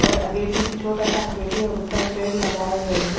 और अगेटी छोटा सा अगेटी और उस पर पेड़ लगाए गए हैं--